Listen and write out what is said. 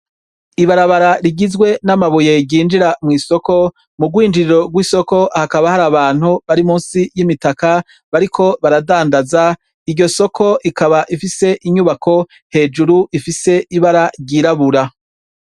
Ibarabara rigizwe n' amabuye ryinjira mw' isoko, mu rwinjiriro rw' isoko hakaba hari abantu bari munsi y' imitaka, bariko baradandaza ,iryo soko rikaba ifise inyubako hejuru rifise ibara ryirabura.